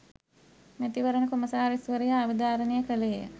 මැතිවරණ කොමසාරිස්වරයා අවධාරණය කළේය.